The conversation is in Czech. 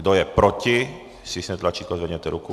Kdo je proti, stiskněte tlačítko a zvedněte ruku.